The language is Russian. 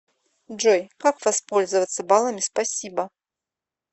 джой как воспользоваться балами спасибо